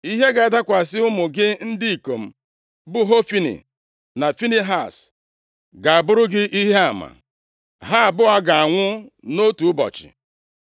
“ ‘Ihe ga-adakwasị ụmụ gị ndị ikom, bụ Hofni na Finehaz, ga-abụrụ gị ihe ama. Ha abụọ ga-anwụ nʼotu ụbọchị.